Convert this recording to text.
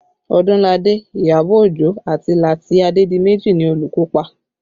Odunlade, Iyabọ̀ Ojo àti Lati Adedimeji ni olùkópa